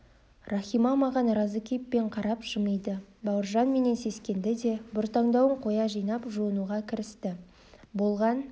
рахима маған разы кейіппен қарап жымиды бауыржан менен сескенді де бұртаңдауын қоя қойып жуынуға кірісті болған